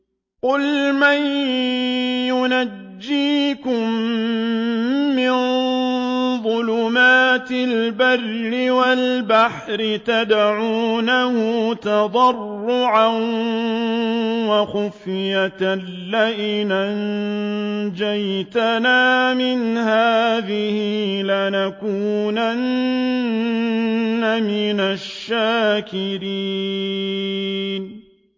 قُلْ مَن يُنَجِّيكُم مِّن ظُلُمَاتِ الْبَرِّ وَالْبَحْرِ تَدْعُونَهُ تَضَرُّعًا وَخُفْيَةً لَّئِنْ أَنجَانَا مِنْ هَٰذِهِ لَنَكُونَنَّ مِنَ الشَّاكِرِينَ